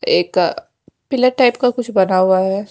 एक pillar type का कुछ बना हुआ है।